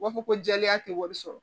U b'a fɔ ko jɛlenya tɛ wari sɔrɔ